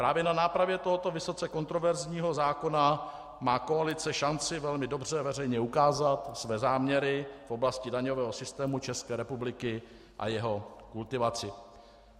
Právě na nápravě tohoto vysoce kontroverzního zákona má koalice šanci velmi dobře veřejně ukázat své záměry v oblasti daňového systému České republiky a jeho kultivaci.